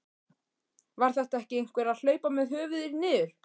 Var þetta ekki einhver að hlaupa með höfuðið niður?